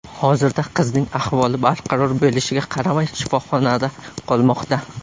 Hozirda qizning ahvoli barqaror bo‘lishiga qaramay, shifoxonada qolmoqda.